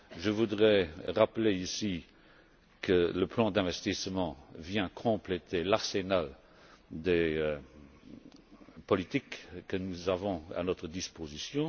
Je voudrais rappeler ici que le plan d'investissement vient compléter l'arsenal des politiques que nous avons à notre disposition.